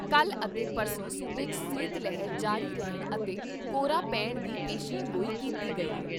ਕੱਲ੍ਹ ਅਤੇ ਪਰਸੋਂ ਸੂਬੇ 'ਚ ਸੀਤ ਲਹਿਰ ਜਾਰੀ ਰਹਿਣ ਅਤੇ ਕੋਹਰਾ ਪੈਣ ਦੀ ਪੇਸ਼ੀਨਗੋਈ ਕੀਤੀ ਗਈ ਏ।